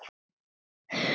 Er mér huppur jafnan kær.